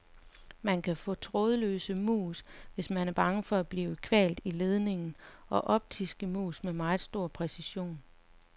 Man kan få trådløse mus, hvis man er bange for at blive kvalt i ledningen, og optiske mus med meget stor præcision.